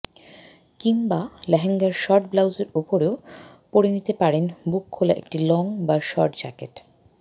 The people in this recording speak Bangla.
কিংবা লেহেঙ্গার শর্ট ব্লাউজের ওপরেও পরে নিতে পারেন বুক খোলা একটি লং বা শর্ট জ্যাকেট